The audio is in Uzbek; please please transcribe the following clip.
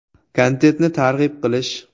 Kontentni targ‘ib qilish.